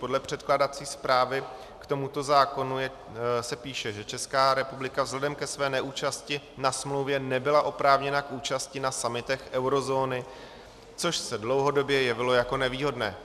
Podle předkládací zprávy k tomuto zákonu se píše, že Česká republika vzhledem ke své neúčasti na smlouvě nebyla oprávněna k účasti na summitech eurozóny, což se dlouhodobě jevilo jako nevýhodné.